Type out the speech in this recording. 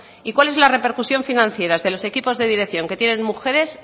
y cuál es la repercusión financiera de los equipos de dirección que tienen mujeres